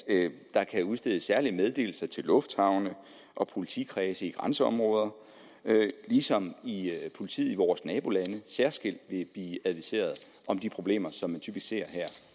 der kan udstedes særlige meddelelser til lufthavne og politikredse i grænseområder ligesom politiet i vores nabolande særskilt vil blive adviseret om de problemer som man typisk ser